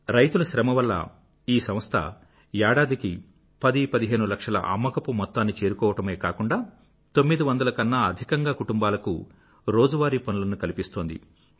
రైతుల శ్రమ వల్ల ఈ సంస్థ ఏడాదికి పదిపదిహేను లక్షల అమ్మకపు మొత్తాన్ని చేరుకోవడమే కాకుండా 900 కన్నా అధికంగా కుటుంబాలకు రోజువారీ పనులను కల్పిస్తోంది